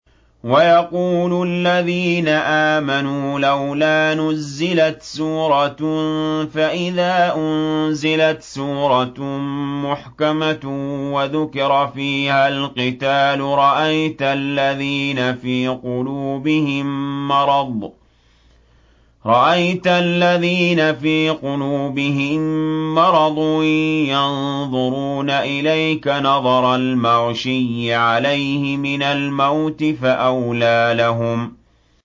وَيَقُولُ الَّذِينَ آمَنُوا لَوْلَا نُزِّلَتْ سُورَةٌ ۖ فَإِذَا أُنزِلَتْ سُورَةٌ مُّحْكَمَةٌ وَذُكِرَ فِيهَا الْقِتَالُ ۙ رَأَيْتَ الَّذِينَ فِي قُلُوبِهِم مَّرَضٌ يَنظُرُونَ إِلَيْكَ نَظَرَ الْمَغْشِيِّ عَلَيْهِ مِنَ الْمَوْتِ ۖ فَأَوْلَىٰ لَهُمْ